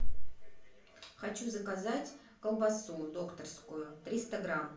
хочу заказать колбасу докторскую триста грамм